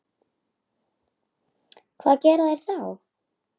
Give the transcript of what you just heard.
Hvað gera þeir þá?